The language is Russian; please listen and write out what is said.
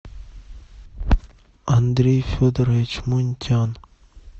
андрей федорович мунтян